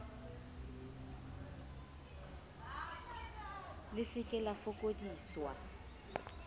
le se ke la fokodisa